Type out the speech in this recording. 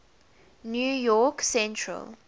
new york central